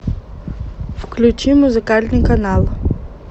включи музыкальный канал